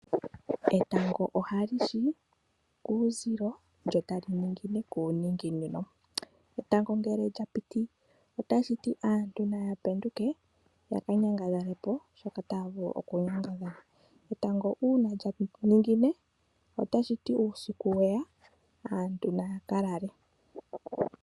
Etango ohali shi kuuzilo lyo tali ningine kuuninginino. Etango ngele lya piti otashi ti aantu naya penduke ya ka nyangadhale po shoka taya vulu okunyangadhala. Etango uuna lya ningine otashi ti uusiku we ya aantu naya ka lale.